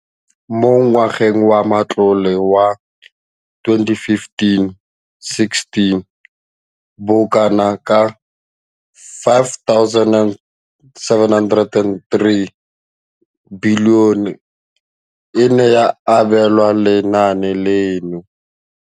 Mo ngwageng wa matlole wa 2015,16, bokanaka R5 703 bilione e ne ya abelwa lenaane leno.